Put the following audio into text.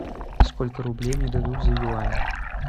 сколько рублей мне дадут за юань